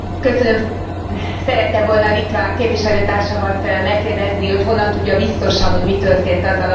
Szerettem volna litván képviselőtársamat megkérdezni, hogy honnan tudja biztosan, hogy mi történt azzal a bizonyos géppel.